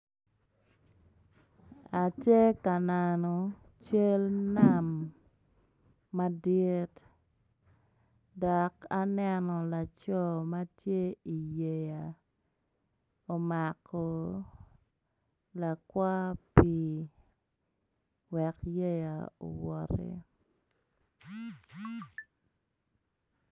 Atye ka neno cal nam madit dok aneno laco ma tye i yeya omako lakwang pii wek yeya owacoti.